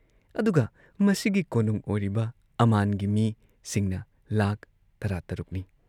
ꯑꯗꯨꯒ ꯃꯁꯤꯒꯤ ꯀꯣꯅꯨꯡ ꯑꯣꯏꯔꯤꯕ ꯑꯃꯥꯟꯒꯤ ꯃꯤꯁꯤꯡꯅ ꯂꯥꯈ ꯇꯔꯥꯇꯔꯨꯛꯅꯤ ꯫